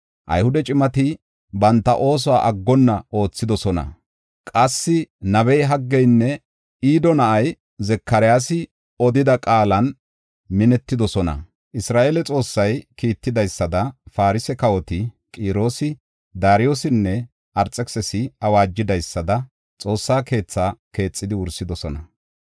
Ayhude cimati banta oosuwa aggonna oothidosona; qassi nabey Haggeynne Ido na7ay Zakaryaasi odida qaalan minetidosona. Isra7eele Xoossay kiittidaysada Farse kawoti Qiroosi, Daariyosinne Arxekisisi awaajidaysada Xoossa keetha keexidi wursidosona.